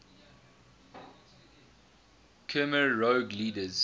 khmer rouge leaders